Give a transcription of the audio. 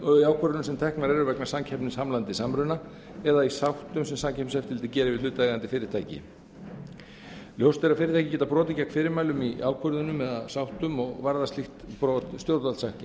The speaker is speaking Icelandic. ákvörðunum sem teknar eru vegna samkeppnishamlandi samruna eða í sáttum sem samkeppniseftirlitið gerir við hlutaðeigandi fyrirtæki ljóst er að fyrirtæki geta brotið gegn fyrirmælum í ákvörðunum eða sáttum og varða slík brot stjórnvaldssektum